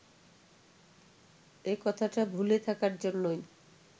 এ-কথাটা ভুলে থাকার জন্যই